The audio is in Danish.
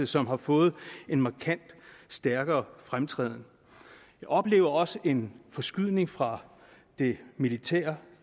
som har fået en markant og stærkere fremtræden vi oplever også en forskydning fra det militære